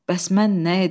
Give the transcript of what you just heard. Bəs mən nə edim?